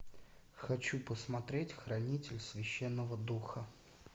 хочу посмотреть хранитель священного духа